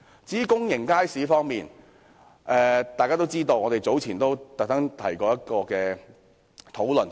至於公營街市，大家也知道，我們早前特別提出一項議案討論這問題。